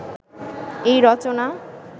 এই রচনা